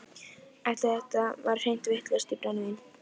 Eftir þetta var ég hreint vitlaus í brennivín.